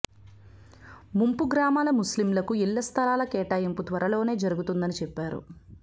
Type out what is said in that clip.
ముంపు గ్రామాల ముస్లింలకు ఇళ్ల స్థలాల కేటాయింపు త్వరలోనే జరుగుతుందని చెప్పారు